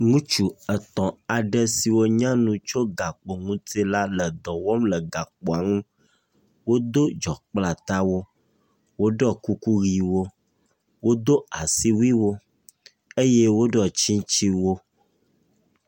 Ŋtsu etɔ̃ aɖe siwo nye tso gakpo ŋuti la le dɔ wɔm le gakpoa nu. Wodo dzɔ kple atawo. Woɖɔ kuku ʋiwo. Wodo asiwui eye woɖɔ tsitsiwo.